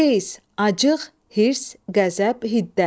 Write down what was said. Qeys, acıq, hirs, qəzəb, hiddət.